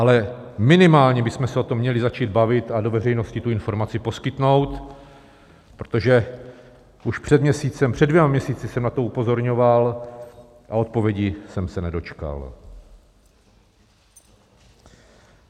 Ale minimálně bychom se o tom měli začít bavit a do veřejnosti tu informaci poskytnout, protože už před měsícem, před dvěma měsíci jsem na to upozorňoval a odpovědi jsem se nedočkal.